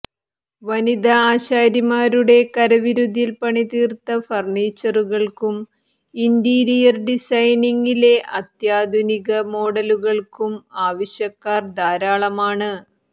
വനിതാ ആശാരിമാരുടെ കരവിരുതിൽ പണിതീർത്ത ഫർണിച്ചറുകൾക്കും ഇന്റീരിയർ ഡിസൈനിങ്ങിലെ അത്യാധുനിക മോഡലുകൾക്കും ആവശ്യക്കാർ ധാരാളമാണ്